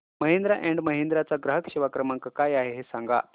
Mahindra and Mahindra चा ग्राहक सेवा क्रमांक काय आहे हे सांगा